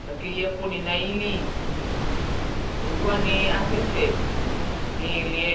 Ku ake yi ɛkuni nu ayili Owuwani asɛ sɛ nu iili yɛ